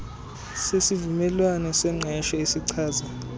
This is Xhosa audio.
sesivumelwano sengqesho esichaza